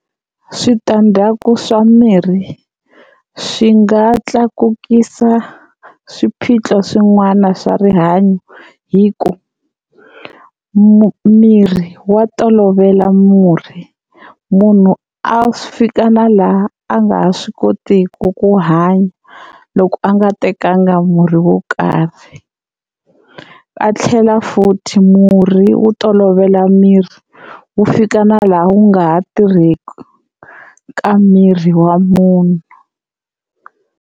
Switandzhaku swa mirhi swi nga tlakukisa swiphiqo swin'wana swa rihanyo hi ku miri wa tolovela murhi, munhu a fika na laha a nga ha swi kotiki ku hanya loko a nga tekanga murhi wo karhi. A tlhela futhi murhi wu tolovela miri wu fika na laha wu nga ha tirheki ka miri wa munhu.